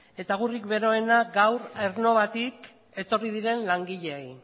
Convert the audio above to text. eta agurrik beroenak gaur aernnovatik etorri diren langileei